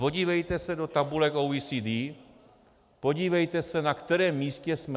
Podívejte se do tabulek OECD, podívejte se, na kterém místě jsme.